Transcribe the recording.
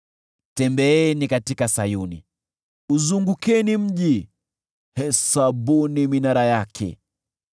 Tembeeni katika Sayuni, uzungukeni mji, hesabuni minara yake;